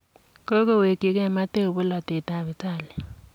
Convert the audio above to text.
Kogowekigei Matteo polotet ab Italia.